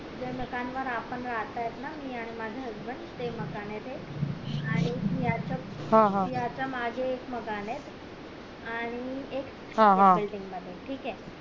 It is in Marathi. ज्या मकान वर आपण राहतायत ना मी आणि माझा husband ते मकान ते आणि याच्या मागे एक मकान ये आणि एक मध्ये ठीक ये